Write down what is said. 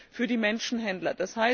EUR für die Menschenhändler.